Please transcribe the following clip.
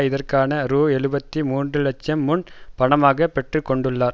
இதற்காக ரூ எழுபத்தி மூன்று லட்சம் முன் பணமாக பெற்றுக்கொண்டுள்ளார்